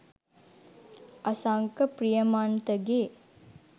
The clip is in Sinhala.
අසංක ප්‍රියමන්තගෙ '